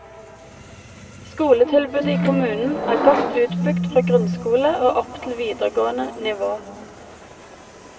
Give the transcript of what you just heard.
Skoletilbudet i kommunen er godt utbygd fra grunnskole og opp til videregående nivå.